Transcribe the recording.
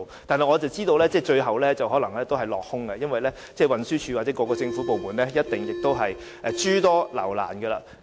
然而，我知道有關的建議最後可能會落空，因為運輸署或各政府部門一定會諸多留難。